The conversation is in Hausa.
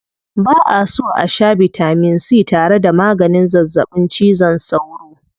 Ba'a so a shaa bitamin c tare da maganin zazzaɓin cizon sauro.